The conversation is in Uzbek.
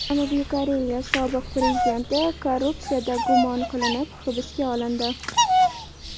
Janubiy Koreya sobiq prezidenti korrupsiyada gumon qilinib hibsga olindi.